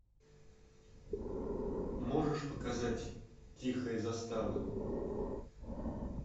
можешь показать тихая застава